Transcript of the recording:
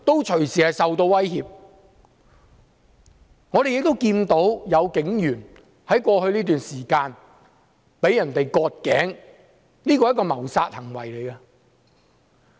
在過去這段時間，我們也看到有警員被人割頸，這是一項謀殺行為。